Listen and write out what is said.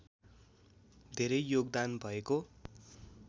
धेरै योगदान भएको